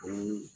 O